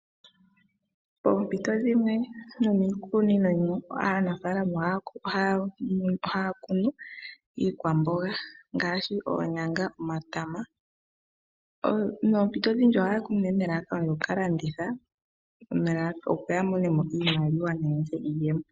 Poompito dhimwe nomiikunino yimwe aanafaalama ohaya kunu iikwamboga ngaashi oonyanga, omatama, ano ohaya kunu nelalakano opo yakalandithe, opo yamone mo iiyemo.